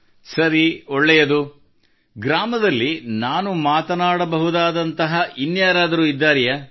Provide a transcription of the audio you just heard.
ಸರಿ ಒಳ್ಳೆಯದು ಗ್ರಾಮದಲ್ಲಿ ನಾನು ಮಾತನಾಡಬಹುದಾದಂತಹ ಇನ್ಯಾರಾದರೂ ಇದ್ದಾರೆಯೇ